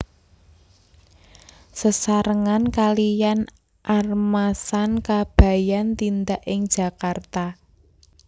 Sesarengan kaliyan Armasan Kabayan tindak ing Jakarta